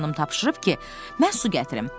Qoca xanım tapşırıb ki, mən su gətirim.